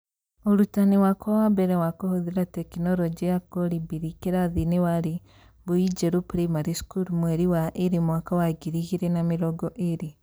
Ũrutani wakwa wa mbere wa kũhũthĩra tekinorojĩ ya Kolibri kĩrathiinĩ warĩ Mbuinjeru Primary School mweri wa ĩĩrĩ mwaka wa 2020.